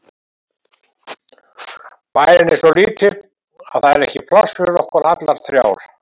Bærinn er svo lítill að það er ekki pláss fyrir okkur allar þrjár.